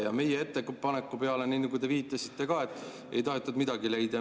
Ja meie ettepaneku peale, nii nagu te viitasite, ei tahetud midagi leida.